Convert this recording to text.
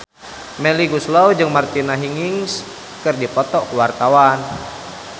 Melly Goeslaw jeung Martina Hingis keur dipoto ku wartawan